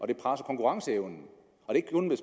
det presser konkurrenceevnen